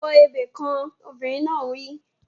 Kọ ebè kan! Obìnrin náà wí.